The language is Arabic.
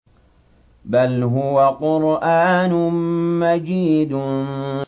بَلْ هُوَ قُرْآنٌ مَّجِيدٌ